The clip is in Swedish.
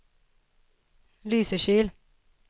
Lysekil